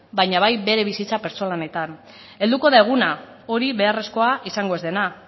baina bai bere bizitza pertsonaletan helduko da eguna hori beharrezkoa izango ez dena